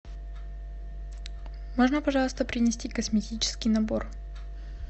можно пожалуйста принести косметический набор